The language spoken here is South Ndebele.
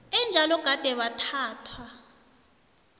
enjalo gade bathathwa